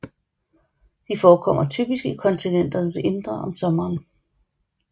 De forekommer typisk i kontinenternes indre om sommeren